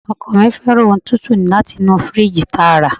Ọkọ mi fẹ́ràn ohun tútù láti inú firiji tààrà.